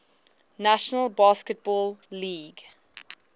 national basketball league